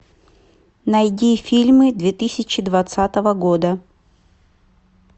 найди фильмы две тысячи двадцатого года